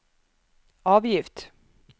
avgift